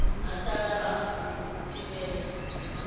ha sala hafu u thivhela